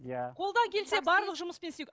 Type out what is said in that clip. иә қолдан келсе барлық жұмыспен істейді